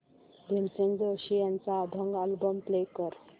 भीमसेन जोशी यांचा अभंग album play कर